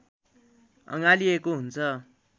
अँगालिएको हुन्छ